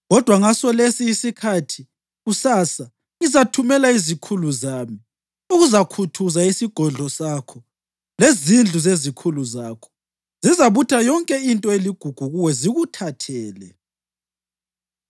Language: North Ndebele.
Kodwa ngasolesi isikhathi kusasa ngizathumela izikhulu zami ukuzakhuthuza isigodlo sakho lezindlu zezikhulu zakho. Zizabutha yonke into eligugu kuwe zikuthathele.’ ”